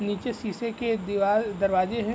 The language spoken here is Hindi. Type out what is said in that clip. नीचे शीशे के एक दीवाल दरवाजे हैं।